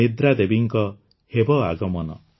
ନିଦ୍ରାଦେବୀଙ୍କ ହେବ ଆଗମନ